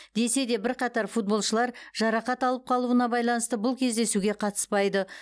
десе де бірқатар футболшылар жарақат алып қалуына байланысты бұл кездесуге қатыспайды